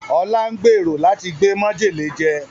Ọlá ń gbèrò láti gbé mọ́jèlé jẹ